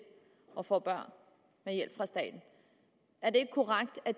at få børn med hjælp fra staten er det ikke korrekt at